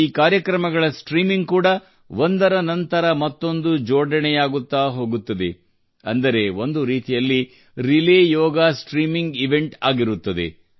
ಈ ಕಾರ್ಯಕ್ರಮಗಳ ಸ್ಟ್ರೀಮಿಂಗ್ ಕೂಡಾ ಒಂದರ ನಂತರ ಮತ್ತೊಂದು ಜೋಡಣೆಯಾಗುತ್ತಾ ಹೋಗುತ್ತದೆ ಅಂದರೆ ಒಂದು ರೀತಿಯಲ್ಲಿ ರಿಲೇ ಯೋಗ ಸ್ಟ್ರೀಮಿಂಗ್ ಇವೆಂಟ್ ಆಗಿರುತ್ತದೆ